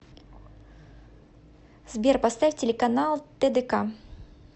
сбер поставь телеканал тдк